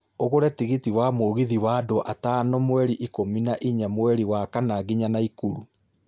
ũgũre tigiti wa mũgithi ni undũ wa gatano mweri ikũmi na ĩnya mweri wa kana nginya naikuru